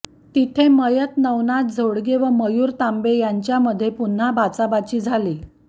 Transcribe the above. तिथे मयत नवनाथ झोडगे व मयूर तांबे यांच्यामध्ये पुन्हा बाचाबाची झाली